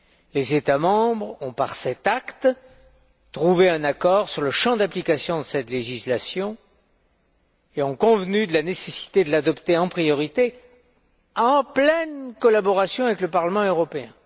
Les États membres ont, par cet acte, trouvé un accord sur le champ d'application de cette législation et ont convenu de la nécessité de l'adopter en priorité en pleine collaboration avec le Parlement européen.